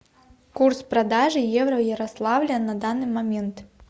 курс продажи евро в ярославле на данный момент